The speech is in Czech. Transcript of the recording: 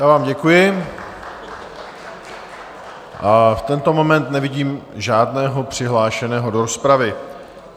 Já vám děkuji a v tento moment nevidím žádného přihlášeného do rozpravy.